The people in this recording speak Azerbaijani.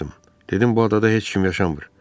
Dedim bu adada heç kim yaşamır.